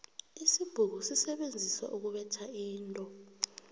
isibhuku sisebenziswa ukubetha into